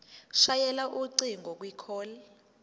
shayela ucingo kwicall